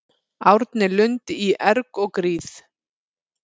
Árni Lund í erg og gríð